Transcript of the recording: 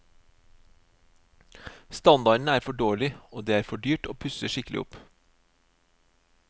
Standarden er for dårlig, og det er for dyrt å pusse skikkelig opp.